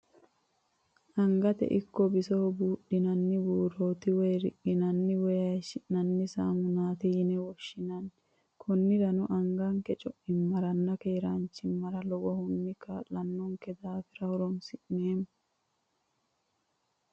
Angate ikko bisoho buudhinanni buuroti woyi riqinanni woyi hayishinanni saamunati yine woshinanni, koniranno anga'ke co'ichimaranna keeranchima lowohunni kaalano'nke daafira horonsi'neemo